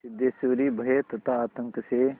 सिद्धेश्वरी भय तथा आतंक से